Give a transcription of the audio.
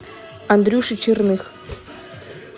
андрюше черных